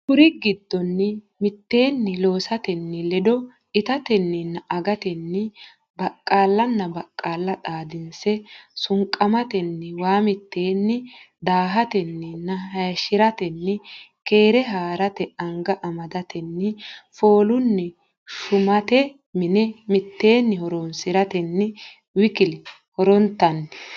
Kuri giddonni mitteenni loosatenni ledo itatenninna agatenni baqqaallanna baqqaalla xaadinse sunqamatenni waa mitteenni daahatenninna hayishshi ratenni keere haa rate anga amadatenni foolunni shumate mine mitteenni horonsi ratenninna w k l horontanni.